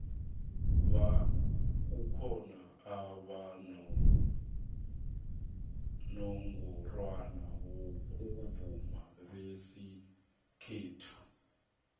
kukhona abonongorwana bomvumo besikhethu